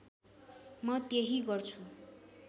म त्यही गर्छु